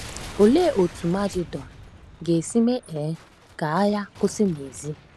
Olee otú magedọn ga-esi mee um ka agha kwụsị n’ezie?